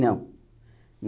Não